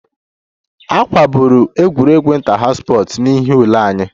A kagburu egwuregwu inter house n'ihi ule anyị